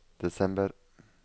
desember